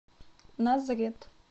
назрет